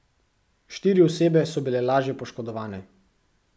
Štiri osebe so bile lažje poškodovane.